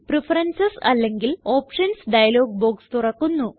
preferences അല്ലെങ്കില് options dialog box തുറക്കുന്നു